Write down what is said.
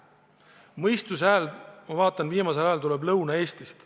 Mõistuse häält, ma vaatan, on viimasel ajal kuulda Lõuna-Eestist.